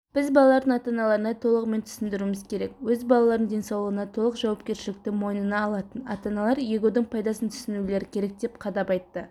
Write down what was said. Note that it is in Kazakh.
біз балалардың ата-аналарына толығымен түсіндіруіміз керек өз балаларының денсаулығына толық жауапкершілікті мойнына алатын ата-аналар егудің пайдасын түсінулері керек деп қадап айтты